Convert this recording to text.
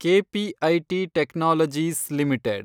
KPIT Technologies limited